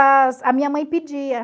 a minha mãe pedia.